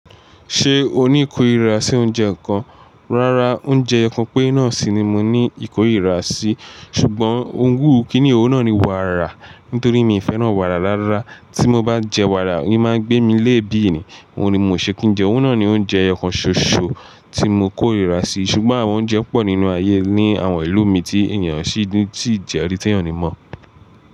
Ṣé o ní ìkórìíra sí oúnjẹ ǹkan? Rárá, oúnjẹ ẹyọ kan pere náà sì ni mo ní ìkórìíra sí, ṣùgbọ́n òun wù kíni, òun náà ni wàrà, nítorí mi ò fẹ́ràn wàrà rárá. Tí mo bá jẹ wàrà, n máa gbé mi léèébì ni. Òun ni mo ṣe kí n jẹ, òun náà ni oúnjẹ ẹyo kan ṣoṣo tí mo kórìíra sí. Ṣùgbọ́n àwọn oúnjẹ pọ̀ nínú ayé, ní àwọn ìlú mi tí ènìyàn sì ńi tí jẹ́rìí tí ènìyàn ò ni mọ̀.